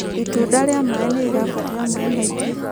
Itunda ria maĩ nĩrirabatara maĩ maĩngi